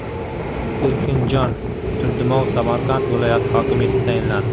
Erkinjon Turdimov Samarqand viloyati hokimi etib tayinlandi.